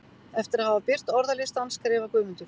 Eftir að hafa birt orðalistann skrifar Guðmundur: